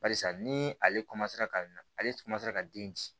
Barisa ni ale ka na ale ka den ci